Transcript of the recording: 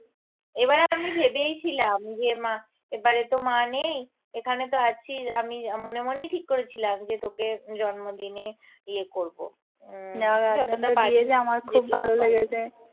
এবারে আমি ভেবেইছিলাম যে মা এবারে তো মা নেই এখানে তো আছিস আমি মনে মনেই ঠিক করেছিলাম যে তোকে জন্মদিনে ইয়ে করবো উম যতটা পারি যেটুকু পারি